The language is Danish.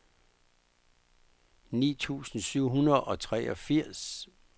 ni tusind syv hundrede og treogfirs